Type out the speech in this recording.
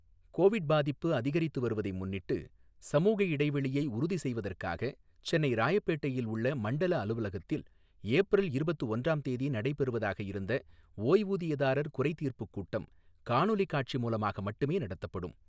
Covid பாதிப்பு அதிகரித்து வருவதை முன்னிட்டு, சமூக இடைவெளியை உறுதி செய்வதற்காக, சென்னை ராயப்பேட்டையில் உள்ள மண்டல அலுவலகத்தில் ஏப்ரல் இருபத்து ஒன்றாம் தேதி நடைபெறுவதாக இருந்த ஓய்வூதியதாரர் குறைத்தீர்ப்பு கூட்டம், காணொலி காட்சி மூலமாக மட்டுமே நடத்தப்படும்.